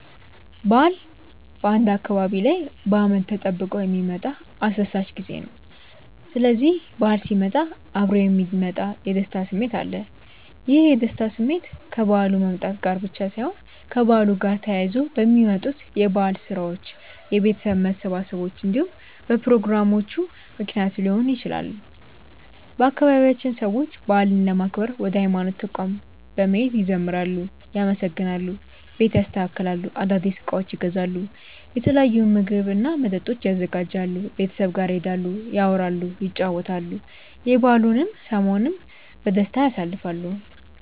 በዓል በአንድ አካባቢ ላይ በአመት ተጠብቆ የሚመጣ አስደሳች ጊዜ ነው። ስስዚህ በዓል ሲመጣ እብሮ የሚመጣ የደስታ ስሜት አለ። ይህ የደስታ ስሜት ከበዓሉ መምጣት ጋር ብቻ ሳይሆን ከበዓሉ ጋር ተያይዘው በሚመጡት የበዓል ስራዎች፣ የቤተሰብ መሰባሰቦች እንዲሁም በፕሮግራሞቹ ምክንያት ሊሆን ይችላል። በአባቢያችንም ሰዎች በዓልን ለማክበር ወደ ሀይማኖት ተቋማት በመሄድ ይዘምራሉ፣ ያመሰግናሉ፣ ቤት ያስተካክላሉ፣ አዳዲስ እቃዎችን ይገዛሉ፣ የተለያዩ ምግብ እና መጠጦችን ያዘጋጃሉ፣ ቤተሰብ ጋር ይሄዳሉ፣ ያወራሉ፣ ይጨዋወታሉ፣ የበዓሉን ሰሞንም በደስታ ያሳልፋሉ።